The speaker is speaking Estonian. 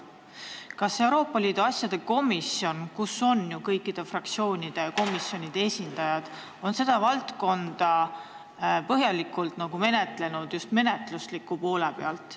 Kas Euroopa Liidu asjade komisjon, kus on ju ka muude komisjonide esindajad, on seda valdkonda põhjalikult käsitlenud ja arutanud teemat ka menetlusliku poole pealt?